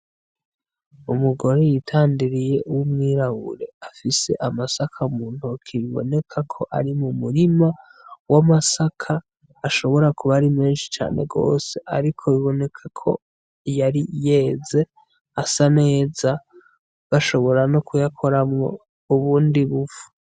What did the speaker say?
Umugore yitandiriye w'umwirabure, afise amasaka mu ntoke, biboneka ko ari mu murima w'amasaka ashobora kuba ari menshi cane gose, ariko biboneka ko yari yeze asa neza bashobora no kuyakoramwo ubundi b'ufu.